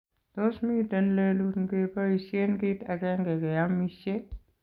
Tos miten lelut ngepoisien kiit agenge keyamishe?